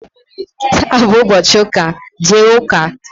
taa bụ ụbọchị ụka, jee ụka!